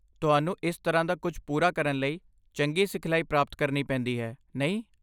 ਤੁਹਾਨੂੰ ਇਸ ਤਰ੍ਹਾਂ ਦਾ ਕੁਝ ਪੂਰਾ ਕਰਨ ਲਈ ਚੰਗੀ ਸਿਖਲਾਈ ਪ੍ਰਾਪਤ ਕਰਨੀ ਪੈਂਦੀ ਹੈ, ਨਹੀਂ?